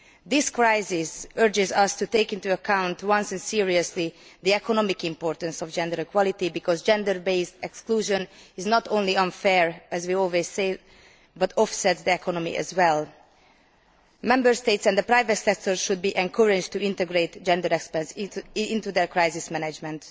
This crisis compels us to take into account, at once and seriously, the economic importance of gender equality because gender based exclusion is not only unfair as we always say but offsets the economy as well. Member States and the private sector should be encouraged to integrate gender experts into their crisis management.